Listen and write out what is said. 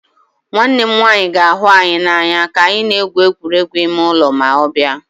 Nwanne m nwanyị ga-ahụ anyị n'anya ka anyị na-egwu egwuregwu ime ụlọ ma ọ bịa